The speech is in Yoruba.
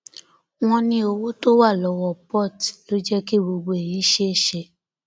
wọn ní owó tó wà lọwọ port ló jẹ kí gbogbo èyí ṣeé ṣe